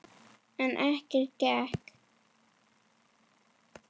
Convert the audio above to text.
En ekkert gekk.